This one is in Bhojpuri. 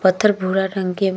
पत्थर भूरा रंग के ब --